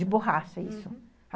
De borracha, isso.